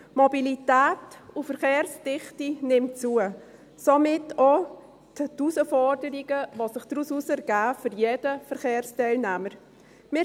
Die Mobilität und die Verkehrsdichte nehmen zu, somit auch die Herausforderungen, die sich daraus für jeden Verkehrsteilnehmer ergeben.